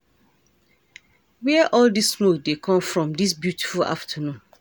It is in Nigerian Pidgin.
Where all dis smoke dey come from dis beautiful afternoon?